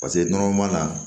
nɔnɔ m'a la